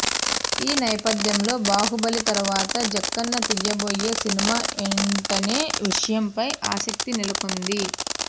ఈ నేపథ్యంలో బాహుబలి తర్వాత జక్కన తీయబోయే సినిమా ఎంటనే విషయంపై ఆసక్తి నెలకొన్నది